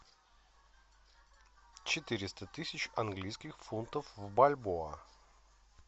четыреста тысяч английских фунтов в бальбоа